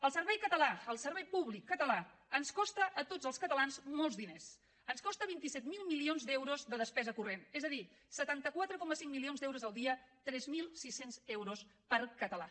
el servei català el servei públic català ens costa a tots els catalans molts diners ens costa vint set mil milions d’euros de despesa corrent és a dir setanta quatre coma cinc milions d’euros al dia tres mil sis cents euros per català